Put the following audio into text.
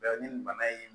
ni bana in